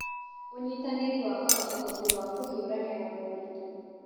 Ũnyitanĩri wakaga ũhoti wa kũhiũrania na moritũ.